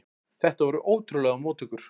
Þetta voru ótrúlegar móttökur.